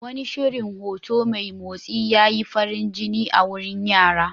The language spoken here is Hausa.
Wani shirin hoto mai motsi ya yi farin jini a wurin yara.